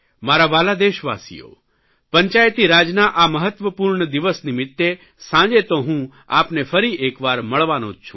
મારા વ્હાલા દેશવાસીઓ પંચાયતીરાજના આ મહત્વપૂર્ણ દિવસ નિમિત્તે સાંજે તો હું આપને ફરીએકવાર મળવાનો જ છું